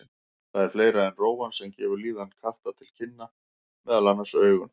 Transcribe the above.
Það er fleira en rófan sem gefur líðan katta til kynna, meðal annars augun.